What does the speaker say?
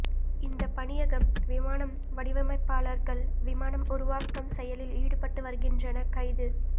இந்த பணியகம் விமானம் வடிவமைப்பாளர்கள் விமானம் உருவாக்கம் செயலில் ஈடுபட்டு வருகின்றன கைது